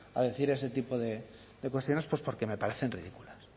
a decir ese tipo de cuestiones pues porque me parecen ridículas